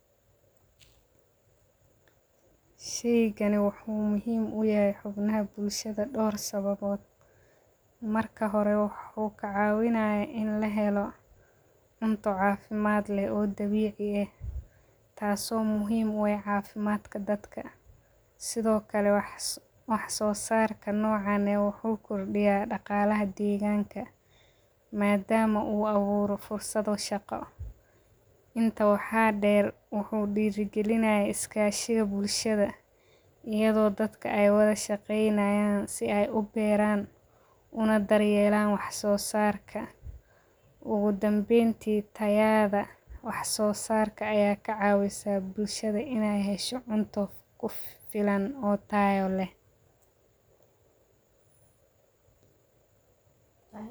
Sheygani wuxuu muhiim u yahay xumnaha bulshaada door sababood, marka horee wuxuu kacawinayaa in lahelo cunto cafimaad leh o dawici eh, taso muhiim u ah cafimaadka dadka, sitho kalee wax sosarka nocano wuxuu kulmiyaa daqalaha degganka, madama u aburo fursado shaqa ah, intaa waxaa deer wuxuu dira galinayaa iskashiga bulshaada, iyado dadka ee wadha shaqeynayan si ee u beran una daryelan wax so sarka, ugu danbenti tayada wax sosarka aya kacawisaa bulshaada ine hesho cunta kufilan o tayo leh.